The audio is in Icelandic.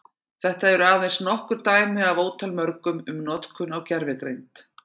Þetta eru aðeins nokkur dæmi af ótal mörgum um notkun á gervigreind.